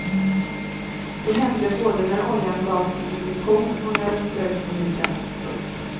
Det hände både när oljan gavs som injektion och när den ströks på huden. punkt